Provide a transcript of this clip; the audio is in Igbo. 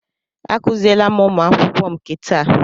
Akuziele m ụmụ akwụkwọ m nke taa.